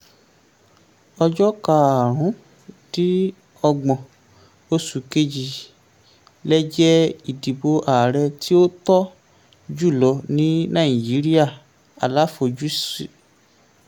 ọjọ́ karùn-ún-dín-ọgbọ́n oṣù kejì lè jẹ́ ìdìbò ààrẹ tí ó tọ́ jùlọ ní nàìjíríà - aláfojúsí.